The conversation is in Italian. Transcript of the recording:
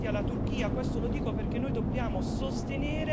Apprezzo, dall'altra parte, i tagli concordati alla Turchia.